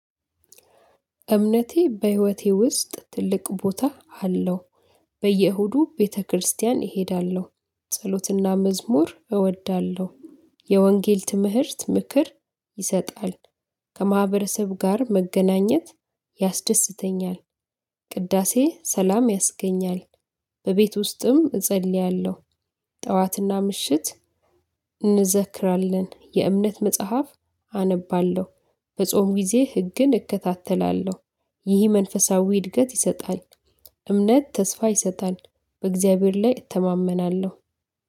እምነቴ በህይወቴ ውስጥ ትልቅ ቦታ አለው። በየእሁዱ ቤተክርስቲያን እሄዳለሁ ጸሎትና መዝሙር እወዳለሁ። የወንጌል ትምህርት ምክር ይሰጣል። ከማህበረሰብ ጋር መገናኘት ያስደስተኛል። ቅዳሴ ሰላም ያስገኛል። በቤት ውስጥም እጸልያለሁ። ጠዋትና ምሽት እንዘክራለን የእምነት መጽሐፍ አነባለሁ። በጾም ጊዜ ህግን እከታተላለሁ። ይህ መንፈሳዊ እድገት ይሰጣል። እምነት ተስፋ ይሰጣል። በእግዚአብሔር ላይ እተማመናለሁ።